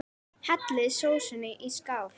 Hellið sósunni í skál.